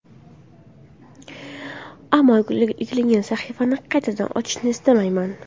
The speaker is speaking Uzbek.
Ammo yakunlangan sahifani qaytadan ochishni istamayman.